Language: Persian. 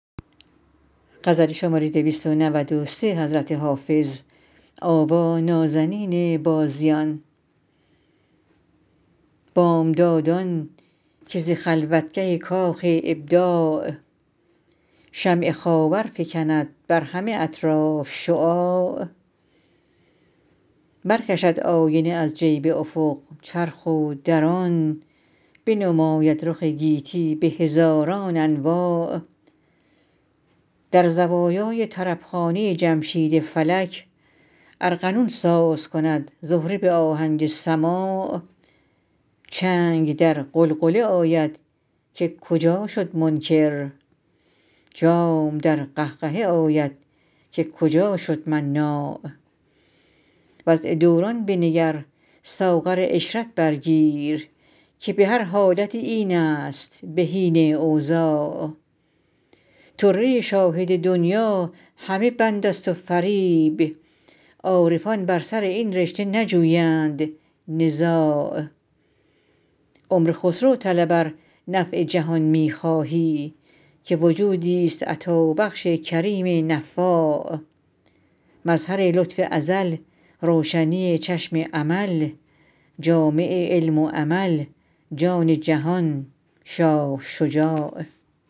بامدادان که ز خلوتگه کاخ ابداع شمع خاور فکند بر همه اطراف شعاع برکشد آینه از جیب افق چرخ و در آن بنماید رخ گیتی به هزاران انواع در زوایای طربخانه جمشید فلک ارغنون ساز کند زهره به آهنگ سماع چنگ در غلغله آید که کجا شد منکر جام در قهقهه آید که کجا شد مناع وضع دوران بنگر ساغر عشرت بر گیر که به هر حالتی این است بهین اوضاع طره شاهد دنیی همه بند است و فریب عارفان بر سر این رشته نجویند نزاع عمر خسرو طلب ار نفع جهان می خواهی که وجودیست عطابخش کریم نفاع مظهر لطف ازل روشنی چشم امل جامع علم و عمل جان جهان شاه شجاع